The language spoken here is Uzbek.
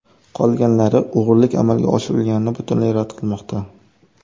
Qolganlari o‘g‘rilik amalga oshirilganini butunlay rad qilmoqda.